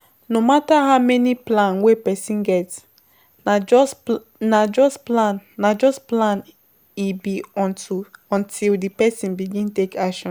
No matter how many plan wey person get, na just plan na just plan na just plan e be unto until di person begin take action